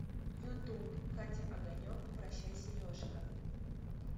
ютуб катя огонек прощай сережка